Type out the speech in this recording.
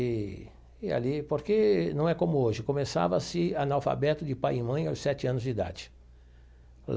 E e ali, porque não é como hoje, começava-se analfabeto de pai e mãe aos sete anos de idade.